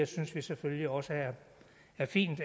synes vi selvfølgelig også er fint